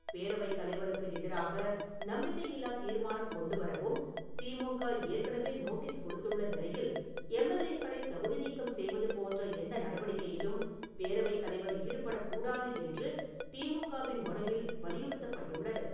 பேரவைத் தலைவருக்கு எதிராக நம்பிக்கையில்லா தீர்மானம் கொண்டு வரவும் திமுக ஏற்கனவே நோட்டீஸ் கொடுத்துள்ள நிலையில், எம்எல்ஏ-க்களைத் தகுதி நீக்கம் செய்வது போன்ற எந்த நடவடிக்கையிலும் பேரவைத் தலைவர் ஈடுபடக்கூடாது என்று திமுக-வின் மனுவில் வலியுறுத்தப் பட்டுள்ளது.